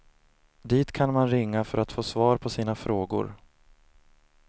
Dit kan man ringa för att få svar på sina frågor.